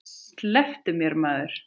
Slepptu mér maður.